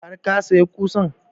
Har ka saya ƙusan?